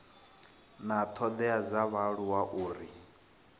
na thodea dza vhaaluwa uri